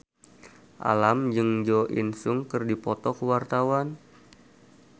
Alam jeung Jo In Sung keur dipoto ku wartawan